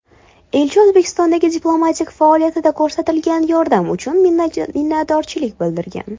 Elchi O‘zbekistondagi diplomatik faoliyatida ko‘rsatilgan yordam uchun minnatdorchilik bildirgan.